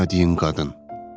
Sevmədiyin qadın.